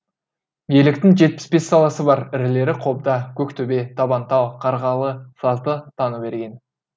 електің жетпіс бес саласы бар ірілері қобда көктөбе табантал қарғалы сазды таныберген